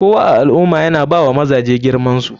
Kowa a alummah yana bawa mazaje girmansu.